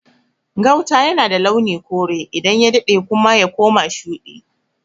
Gauta yana da launin kore, idan ya daɗe kuma y akoma shuɗi.